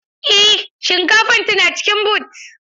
Eh shinkafar tana cikin boot.